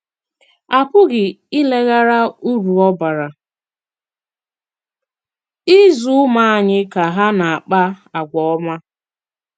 À pụghị ìlèghàrà ùrú ọ bàrà ịzụ̀ ùmụ̀ ànyị̀ ka hà na-àkpà àgwà òmá.